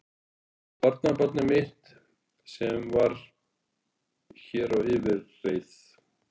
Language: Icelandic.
Eitt barnabarnið mitt sem var hér á yfirreið.